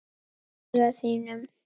Í augum þínum.